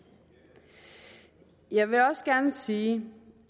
jeg vil også gerne sige